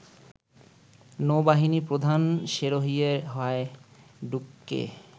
নৌবাহিনী প্রধান সেরহিয়ে হায়ডুককে